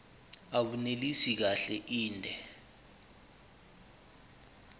abunelisi kahle inde